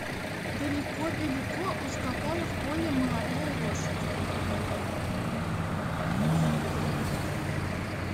далеко далеко ускакала в поле молодая лошадь